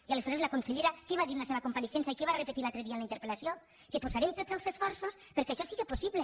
i aleshores la consellera què va dir en la seva compareixença i què va repetir l’altre dia en la interpellació que posarem tots els esforços perquè això sigui possible